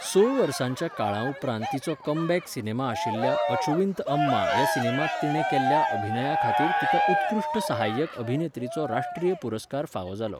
स वर्सांच्या काळा उपरांत तिचो कमबॅक सिनेमा आशिल्ल्या अचुविंत अम्मा ह्या सिनेमांत तिणें केल्ल्या अभिनया खातीर तिका उत्कृश्ट सहाय्यक अभिनेत्रीचो राष्ट्रीय चित्रपट पुरस्कार फावो जालो.